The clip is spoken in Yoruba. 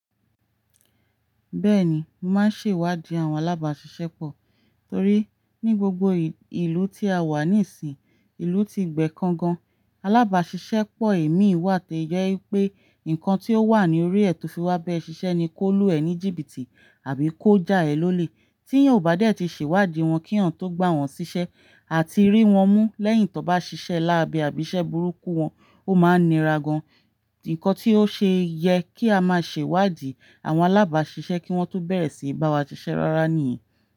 Bẹ́ẹ̀ni, mò máa ń ṣèwádìí àwọn alábàásisẹ́pọ̀ torí ní gbogbo ìlú tí a wà níìsín, ìlú ti gbẹ kankan, alábàásisẹ́pọ̀ èmi ìwà àti ẹ̀jọ́ ẹ pé nǹkan tí ó wà ní orí ẹ̀ tó fi wá bẹ́ẹ̀ ṣiṣẹ́ ni kó lu ẹ̀ ní jìbìtì àbí kó já ẹ̀ lólè. Tí yóò bá dé tí ṣèwádìí wọn kíwọ́n tó gbà wọ́n ṣiṣẹ́ àti rí wọn mú lẹ́yìn tó bá ṣiṣẹ́ láàbẹ́ àbísẹ́ burúkú wọn, ó máa ń nira gan. Nǹkan tí ó ṣe yẹ kí a máa ṣèwádìí àwọn alábàásisẹ́pọ̀ kí wọ́n tó bẹ̀rẹ̀ síí bá wa ṣiṣẹ́ rárá nìyí.